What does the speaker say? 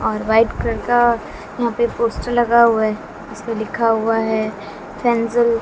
और white colour का यहां पे पोस्टर लगा हुआ है। इसपे लिखा हुआ है फेंजल--